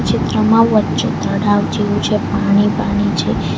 ચિત્રમાં વચ્ચે તળાવ જેવું છે પાણી પાણી છે.